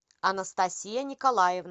анастасия николаевна